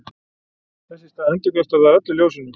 þess í stað endurkastar það öllu ljósinu